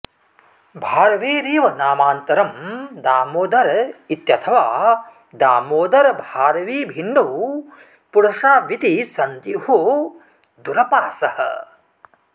भारवेरेव नामान्तरं दामोदर इत्यथवा दामोदरभारवी भिन्नौ पुरुषावितिसन्देहो दुरपासः